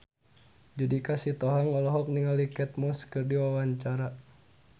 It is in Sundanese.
Judika Sitohang olohok ningali Kate Moss keur diwawancara